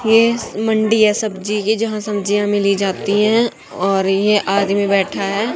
ये स मंडी है सब्जी की जहां सब्जियां मिली जाती हैं और ये आदमी बैठा है।